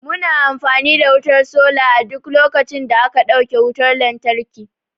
Mu na amfani da wutar sola a duk lokacin da aka dauke wutar lantarki